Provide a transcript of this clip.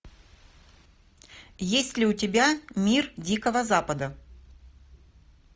есть ли у тебя мир дикого запада